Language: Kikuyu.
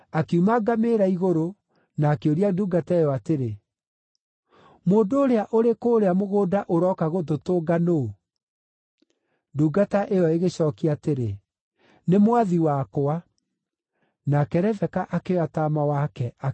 na akĩũria ndungata ĩyo atĩrĩ, “Mũndũ ũrĩa ũrĩ kũũrĩa mũgũnda ũroka gũtũtũnga nũũ?” Ndungata ĩyo ĩgĩcookia atĩrĩ, “Nĩ mwathi wakwa.” Nake Rebeka akĩoya taama wake akĩĩhumbĩra.